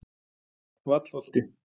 Vallholti